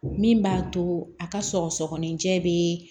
Min b'a to a ka sɔgɔsɔgɔnijɛ bɛ